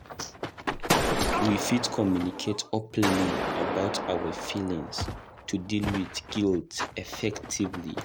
We fit communicate openly about our feelings to deal with guilt effectively.